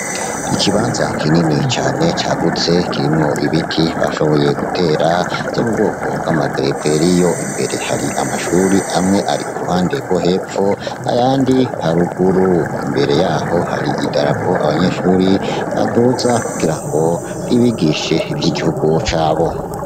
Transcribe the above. Ikibanza kinini cane cagutse kirimwo ibiti bashoboye gutera vyo mubwoko bwama gereveriyo, imbere hari amashuri amwe ari kuruhande rwo hepfo ayandi ari haruguru, imbere yaho hari idarapo abanyeshure baduza kugirango ribigishe ivy'igihugu cabo.